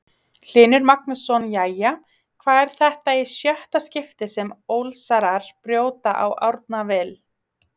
Hlynur Magnússon Jæja, hvað er þetta í sjötta skiptið sem Ólsarar brjóta á Árna Vill?